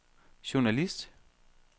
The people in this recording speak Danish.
journalist